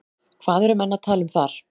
Hvað eru menn að tala um þar?